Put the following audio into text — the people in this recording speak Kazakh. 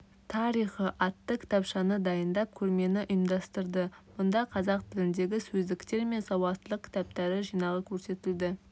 тарихы атты кітапшаны дайындап көрмені ұйымдастырды мұнда қазақ тіліндегі сөздіктер мен сауаттылық кітаптары жинағы көрсетілді